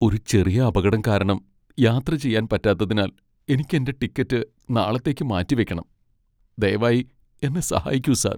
ഒരു ചെറിയ അപകടം കാരണം യാത്ര ചെയ്യാൻ പറ്റാത്തതിനാൽ എനിക്ക് എന്റെ ടിക്കറ്റ് നാളത്തേക്ക് മാറ്റിവയ്ക്കണം. ദയവായി എന്നെ സഹായിക്കൂ സാർ.